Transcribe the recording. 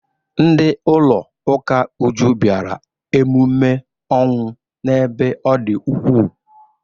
Ndị ụlọ ụka Uju bịara emume ọnwụ n'ebe ọ dị ukwuu.